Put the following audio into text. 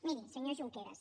miri senyor junqueras